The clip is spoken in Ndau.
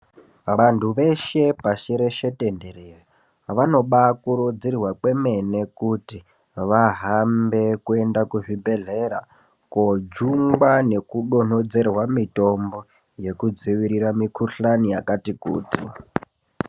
Vantu veshe pashireshe tendere vanoba kurudzirwa kwemene kuti vahambe kuenda kuzvibhehlera kojungwa nekudonhodzerwa mitombo yekudzivirira mukuhlani yakati kuti.